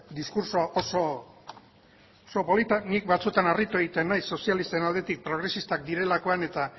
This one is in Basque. diskurtso oso polita ni batzutan harritu egiten naiz sozialisten aldetik progresistak direlakoan eta